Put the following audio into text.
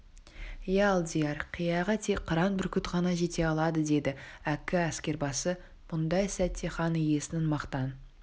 иә алдияр қияға тек қыран бүркіт қана жете алады деді әккі әскербасы мұндай сәтте хан иесінің мақтан